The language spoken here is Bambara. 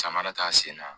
Samara t'a sen na